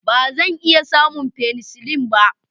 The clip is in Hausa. Ba zan iya samun penicillin ba